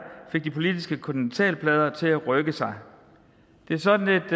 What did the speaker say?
fik de politiske kontinentalplader til at rykke sig det er sådan et